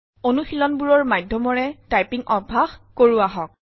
অনুশীলনবোৰৰ মাধ্যমৰে টাইপিং অভ্যাস কৰো আহক